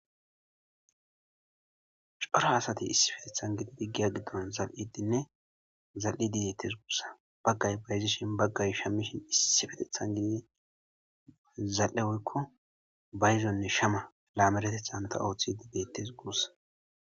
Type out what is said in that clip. cora asati issipetethan gididi giya giddon zal7idinne zal7i didettes gurssa baggay bayzishin baggay shammishin issi fetethan gidi zal7e oykko bayzonne shama laameretethan ta ooththidi dettes guussa